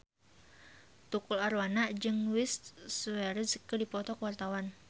Tukul Arwana jeung Luis Suarez keur dipoto ku wartawan